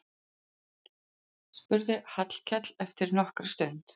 spurði Hallkell eftir nokkra stund.